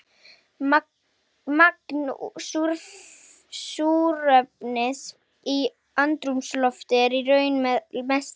Magn súrefnis í andrúmslofti er í raun með mesta móti.